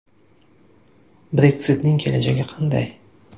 Brexit’ning kelajagi qanday?